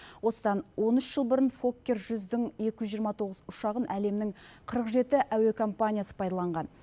осыдан он үш жыл бұрын фоккер жүздің екі жүз жиырма тоғыз ұшағын әлемнің қырық жеті әуе компаниясы пайдаланған